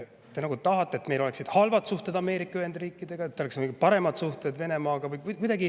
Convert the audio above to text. Te nagu tahate, et meil oleks halvad suhted Ameerika Ühendriikidega ja oleks paremad suhted Venemaaga.